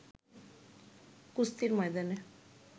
কুস্তির ময়দানে